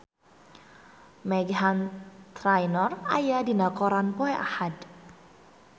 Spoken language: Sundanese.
Meghan Trainor aya dina koran poe Ahad